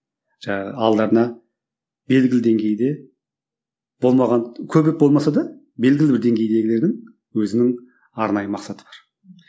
жаңа алдарына белгілі деңгейде болмаған көбірек болмаса да білгілі бір деңгейдегілердің өзінің арнайы мақсаты бар